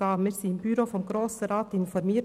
Wir wurden vom Büro des Grossen Rates informiert.